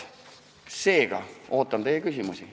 Seega ootan teie küsimusi.